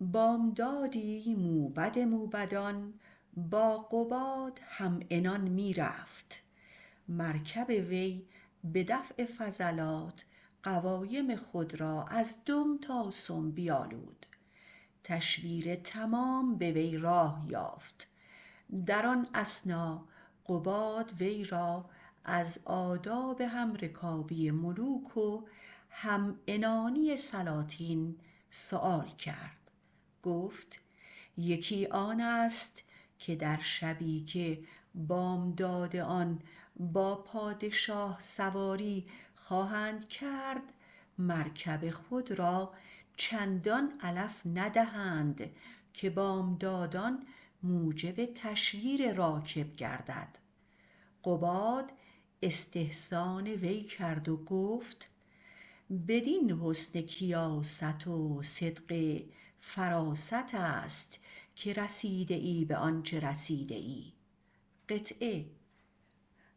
بامدادی موبد موبدان با قباد همعنان می رفت مرکب وی به دفع فضلات قوایم خود را از دم تا سم بیالود و تشویر تمام به وی راه یافت در آن اثنا قباد وی را از آداب همرکابی ملوک و همعنانی سلاطین سؤال کرد گفت یکی آن است که در شبی که بامداد آن با پادشاه سواری خواهد کرد مرکب خود را چندان علف ندهد که بامداد موجب تشویر راکب گردد قباد استحسان وی کرد و گفت بدین حسن کیاست و صدق فراست که رسیده ای به آنچه رسیده ای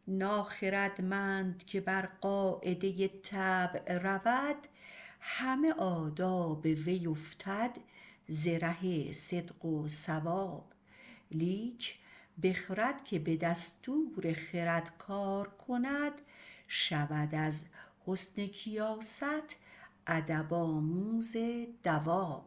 ناخردمند که بر قاعده طبع رود همه آداب وی افتد ز ره صدق و صواب لیک بخرد که به دستور خرد کار کند شود از حسن کیاست ادب آموز دواب